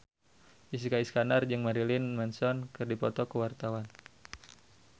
Jessica Iskandar jeung Marilyn Manson keur dipoto ku wartawan